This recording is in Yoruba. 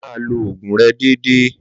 Máa lo oògùn rẹ déédéé!